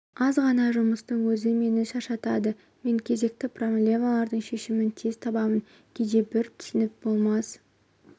аз ғана жұмыстың өзі мені шаршатады мен кезекті проблемалардың шешімін тез табамын кейде бір түсініп болмас